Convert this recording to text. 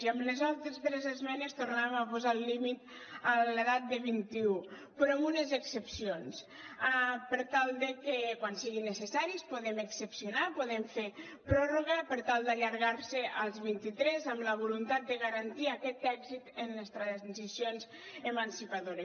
i amb les altres tres esmenes tornàvem a posar el límit a l’edat de vint i u però amb unes excepcions per tal de que quan sigui necessari puguem excepcionar puguem fer pròrroga per tal d’allargar ho als vint i tres amb la voluntat de garantir aquest èxit en les transicions emancipadores